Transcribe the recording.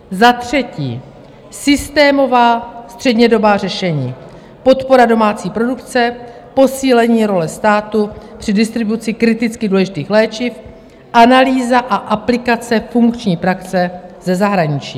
Za třetí, systémová střednědobá řešení, podpora domácí produkce, posílení role státu při distribuci kriticky důležitých léčiv, analýza a aplikace funkční praxe ze zahraničí.